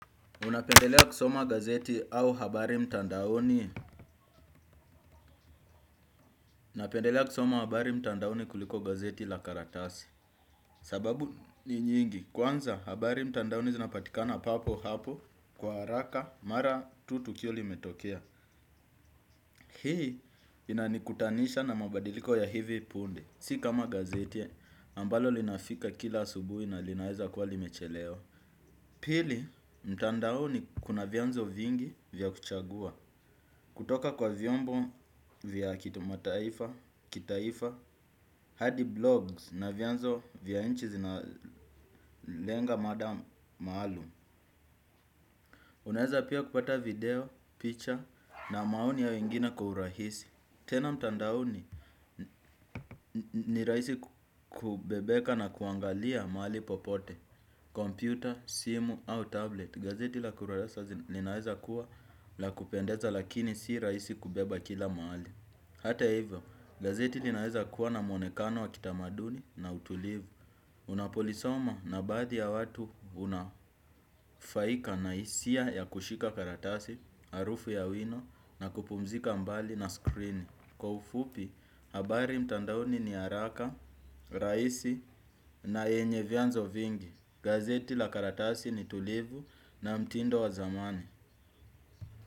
Unapendelea kusoma gazeti au habari mtandaoni napendelea kusoma habari mtandaoni kuliko gazeti la karatasi. Sababu ni nyingi kwanza habari mtandaoni zinapatikana papo hapo kwa haraka mara tu tukio limetokea. Hii inanikutanisha na mabadiliko ya hivi punde. Si kama gazeti ambalo linafika kila asubuhi na linaeza kuwa limechelewa. Pili mtandaoni kuna vyanzo vingi vya kuchagua. Kutoka kwa vyombo vya kitu mataifa, kitaifa, hadi blogs na vyanzo vya inchi zinalenga mada maalum. Unaeza pia kupata video, picture na maoni ya wengine kwa urahisi. Tena mtandaoni ni rahisi kubebeka na kuangalia mahali popote. Computer, simu au tablet. Gazeti la kurasa zinaeza kuwa la kupendeza lakini si rahisi kubeba kila mahali. Hata hivyo, gazeti linaweza kuwa na mwonekano wa kitamaduni na utulivu. Unapolisoma na baadhi ya watu hunafaika na hisia ya kushika karatasi, harufu ya wino na kupumzika mbali na skrini. Kwa ufupi, habari mtandaoni ni haraka, rahisi na yenye vyanzo vingi. Gazeti la karatasi ni tulivu na mtindo wa zamani.